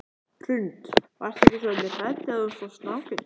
Hrund: Varstu ekki svolítið hrædd þegar þú sást snákinn?